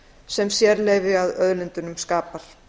sem sérleyfi að auðlindunum skapar